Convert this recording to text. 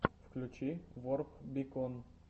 включи ворп бикон